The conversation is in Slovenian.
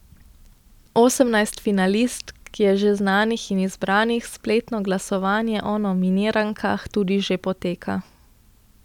Osemnajst finalistk je že znanih in izbranih, spletno glasovanje o nominirankah tudi že poteka.